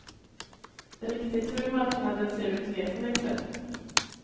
Riktigt hur marknaden ser ut vet hon inte.